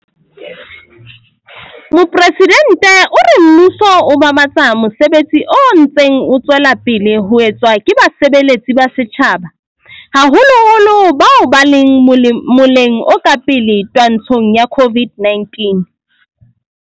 Mopresidente o re mmuso o babatsa mosebetsi o ntseng o tswela pele ho etswa ke basebeletsi ba setjhaba, haholoholo bao ba leng moleng o ka pele twantshong ya COVID-19.